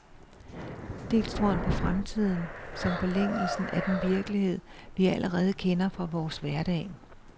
Dels tror han på fremtiden, som forlængelsen af den virkelighed, vi allerede kender fra vores hverdag.